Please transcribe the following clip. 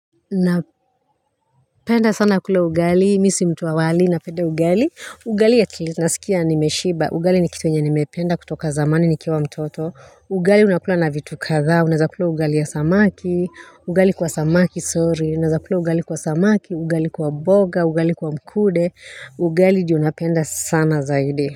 Napenda sana kula ugali, mimi si mtu wa wali, napenda ugali. Ugali naskia nimeshiba, ugali ni kitu yenye nimependa kutoka zamani nikiwa mtoto. Ugali unakula na vitu kadhaa, unaeza kula ugali ya samaki, ugali kwa samaki sorry, unaeza kula ugali kwa samaki, ugali kwa mboga, ugali kwa mkude, ugali ndio unapenda sana zaidi kwa hivyo.